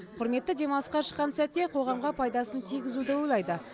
құрметті демалысқа шыққан сәтте қоғамға пайдасын тигізуді ойлайды